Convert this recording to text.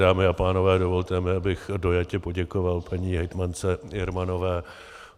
Dámy a pánové, dovolte mi, abych dojatě poděkoval paní hejtmance Jermanové.